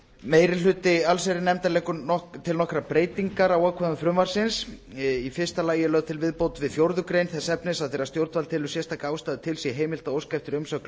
meiri hluti allsherjarnefndar leggur til nokkrar breytingar á ákvæðum frumvarpsins í fyrsta lagi er lögð til viðbót við fjórðu greinar þess efnis að þegar stjórnvald telur sérstaka ástæðu til sé heimilt að óska eftir umsögn